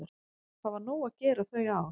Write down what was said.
Það var nóg að gera þau ár.